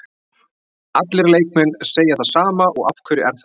Allir leikmenn segja það sama og af hverju er það?